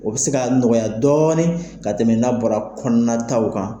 O bi se ka nɔgɔya dɔɔnin ka tɛmɛ n'a bɔra kɔnɔnataw kan.